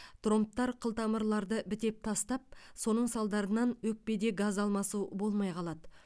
тромбтар қылтамырларды бітеп тастап соның салдарынан өкпеде газ алмасу болмай қалады